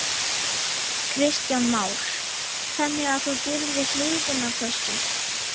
Kristján Már: Þannig að þú býrð við hliðina á þessu?